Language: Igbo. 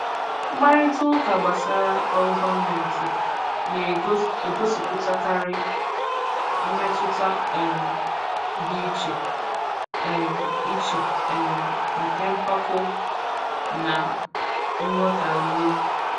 Mkparịta ụka gbasara ọrụ gọọmentị na-egosipụtakarị mmetụta um dị iche um iche um nke mpako na nghọtahie.